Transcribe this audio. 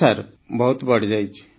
ହଁ ସାର୍ ବହୁତ ବଢ଼ିଯାଇଛି